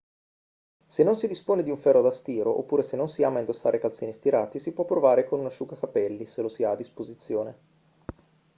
se non si dispone di un ferro da stiro oppure se non si ama indossare calzini stirati si può provare con un asciugacapelli se lo si ha a disposizione